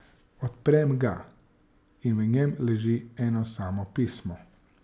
Odprem ga in v njem leži eno samo pismo.